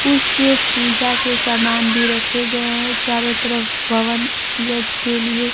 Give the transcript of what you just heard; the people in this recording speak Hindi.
कुछ पूजा के सामान भी रखे गए है चारों तरफ हवन यज्ञ के लिए--